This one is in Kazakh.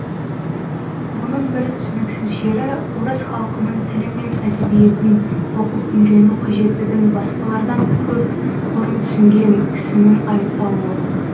мұның бір түсініксіз жері орыс халқының тілі мен әдебиетін оқып үйрену қажеттігін басқалардан көп бұрын түсінген кісінің айыпталуы